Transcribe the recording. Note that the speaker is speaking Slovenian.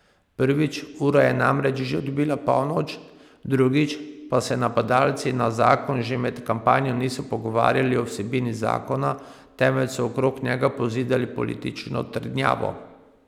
Prvič, ura je namreč že odbila polnoč, drugič pa se napadalci na zakon že med kampanjo niso pogovarjali o vsebini zakona, temveč so okrog njega pozidali politično trdnjavo.